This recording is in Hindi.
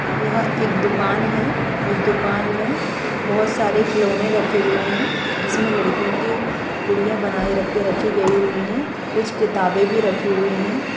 यहाँ एक दुकान है उस दुकान में बहुत सारे खिलौने रखे हुए है जिसमे लड़कियों की कुड़िया बनाई के रखी गयी है कुछ किताबे भी रखी हुई है।